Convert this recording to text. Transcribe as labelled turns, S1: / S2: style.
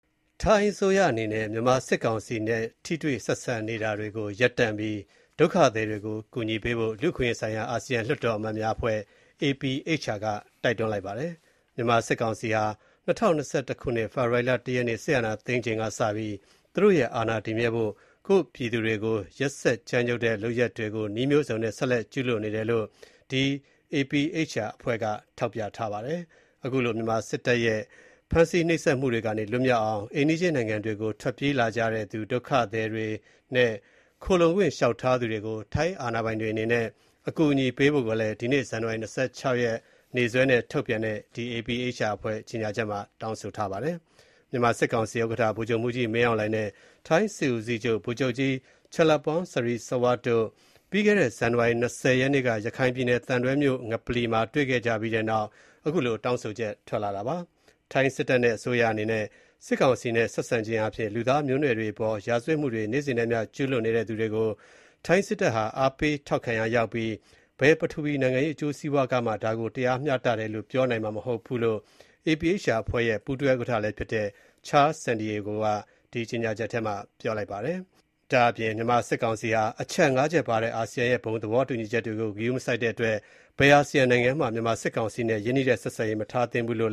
S1: ထိုင်းအစိုးရအနေနဲ့ မြန်မာစစ်ကောင်စီနဲ့ ထိတွေ့ဆက်ဆံနေတာတွေကို ရပ်တန့်ပြီး ဒုက္ခသည်တွေကို အကူအညီပေးဖို့ လူ့အခွင့်အရေးဆိုင်ရာ အာဆီယံလွှတ်တော်အမတ်များအဖွဲ့ (APHR) က တိုက်တွန်းလိုက်ပါတယ်။ မြန်မာစစ်ကောင်စီဟာ ၂၀၂၁ ဖေဖော်ဝါရီ ၁ ရက်နေ့ စစ်တပ်အာဏာသိမ်းချိန်ကစပြီး သူတို့ရဲ့ အာဏာတည်မြဲဖို့ ကိုယ့်ပြည်သူတွေကို ရက်စက်ကြမ်းကြုတ်တဲ့လုပ်ရပ်တွေကို နည်းလမ်းမျိုးစုံနဲ့ ဆက်လက်ကျူးလွန်နေတယ်လို့ ထောက်ပြပြီး အဲဒီလို မြန်မာစစ်တပ်ရဲ့ ဖမ်းဆီးနှိပ်စက်မှုတွေကနေ လွတ်မြောက်အောင် အိမ်နီးချင်းနိုင်ငံတွေကို ထွက်ပြေးလာကြတဲ့သူ ဒုက္ခသည်တွေနဲ့ ခိုလှုံခွင့်လျှောက်ထားသူတွေကို ထိုင်းအာဏာပိုင်တွေအနေနဲ့ အကူအညီပေးဖို့လည်း ဒီနေ့ ဇန်နဝါရီ ၂၆ ရက်နေ့စွဲနဲ့ထုတ်ပြန်တဲ့ကြေငြာချက်မှာ တောင်းဆိုထားပါတယ်။ မြန်မာစစ်ကောင်စီဥက္ကဋ္ဌ ဗိုလ်ချုပ်မှူးကြီး မင်းအောင်လှိုင် နဲ့ ထိုင်းစစ်ဦးစီးချုပ် ဗိုလ်ချုပ်ကြီး Chalermphon Srisawasdi တို့ ပြီးခဲ့တဲ့ ဇန်နဝါရီ ၂၀ ရက်နေ့က ရခိုင်ပြည်နယ် သံတွဲမြို့က ငပလီမှာတွေ့ခဲ့ကြပြီးတဲ့နောက် အခုလို တောင်းဆိုလိုက်တာဖြစ်ပါတယ်။ ထိုင်းစစ်တပ်နဲ့ အစိုးရအနေနဲ့ စစ်ကောင်စီနဲ့ဆက်ဆံခြင်းအားဖြင့်၊ လူသားမျိုးနွယ်တွေအပေါ် ရာဇဝတ်မှုတွေ နေ့စဉ်နဲ့ အမျှ ကျူးလွန်နေတဲ့သူတွေကို ထိုင်းစစ်တပ်ဟာ အားပေးထောက်ခံရာရောက်ပြီး ဘယ်ပထဝီနိုင်ငံရေး အကျိုးစီးပွားကမှ ဒါကို တရားမျှတတယ်လို့ ပြောနိုင်မှာမဟုတ်ကြောင်း၊ ဒါ့အပြင် မြန်မာစစ်ကောင်စီဟာ အချက် ၅ ချက်ပါတဲ့ အာဆီယံရဲ့ ဘုံသဘောတူညီချက်ကို ဂရုမစိုက်တဲ့အတွက် ဘယ်အာဆီယံနိုင်ငံမှ မြန်မာစစ်ကောင်စီနဲ့ ရင်းနှီးတဲ့ ဆက်ဆံရေး မထားသင့်ဘူးလို့